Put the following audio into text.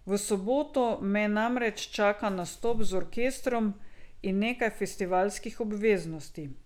V soboto me namreč čaka nastop z orkestrom in nekaj festivalskih obveznosti.